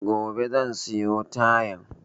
Gobe zan siyo tayan